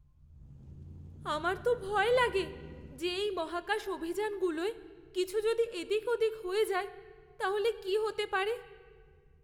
আমার তো ভয় লাগে যে এই মহাকাশ অভিযানগুলোয় কিছু যদি এদিক ওদিক হয়ে যায়ে তাহলে কী হতে পারে!